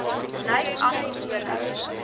lyk asof julle